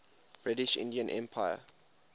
british indian empire